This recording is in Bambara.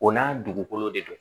O n'a dugukolo de don